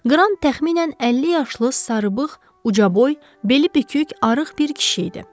Kran təxminən 50 yaşlı sarıbığ, ucaboy, beli bükük, arıq bir kişi idi.